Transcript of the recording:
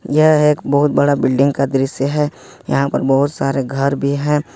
यह एक बहुत बड़ा बिल्डिंग का दृश्य है यहां पर बहुत सारे घर भी है।